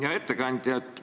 Hea ettekandja!